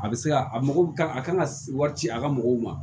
A bɛ se ka a mɔgɔ a kan ka wari ci a ka mɔgɔw ma